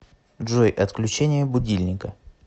джой отключение будильника